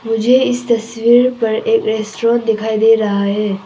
मुझे इस तस्वीर पर एक रेस्टोरेंट दिखाई दे रहा है।